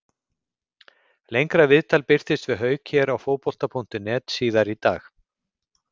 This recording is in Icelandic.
Lengra viðtal birtist við Hauk hér á Fótbolta.net síðar í dag.